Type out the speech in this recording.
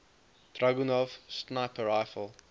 dragunov sniper rifle